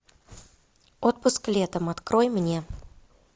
отпуск летом открой мне